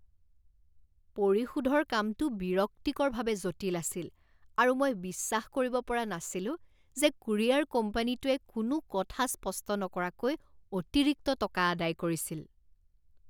পৰিশোধৰ কামটো বিৰক্তিকৰভাৱে জটিল আছিল, আৰু মই বিশ্বাস কৰিব পৰা নাছিলো যে কুৰিয়াৰ কোম্পানীটোৱে কোনো কথা স্পষ্ট নকৰাকৈ অতিৰিক্ত টকা আদায় কৰিছিল।